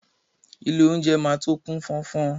Ilé oúnjẹ máa tó kú fọ́nfọ́n.